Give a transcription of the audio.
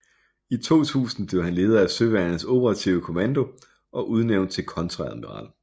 I 2000 blev han leder af Søværnets Operative Kommando og udnævnt til kontreadmiral